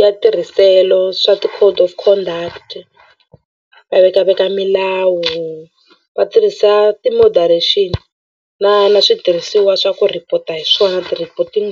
ya tirhiselo swa ti-code of conduct va vekaveka milawu va tirhisa ti-moderation na na switirhisiwa swa ku report-a hi swona ti-reporting .